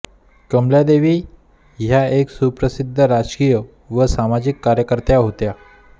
कमलादेवी ह्या एक सुप्रसिद्ध राजकीय व सामाजिक कार्यकर्त्या होत्या